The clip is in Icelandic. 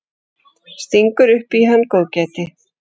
Stingur upp í hann góðgæti.